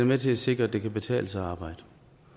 med til at sikre at det kan betale sig at arbejde